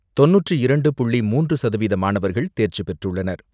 தொண்ணூற்று இரண்டு புள்ளி மூன்று சதவீத மாணவர்கள் தேர்ச்சி பெற்றுள்ளனர்.